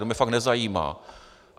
To mě fakt nezajímá.